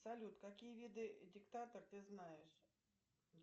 салют какие виды диктатор ты знаешь